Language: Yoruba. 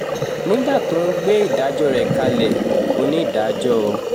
nígbà tó ń gbé ìdájọ́ rẹ̀ kalẹ̀ onídàájọ́ o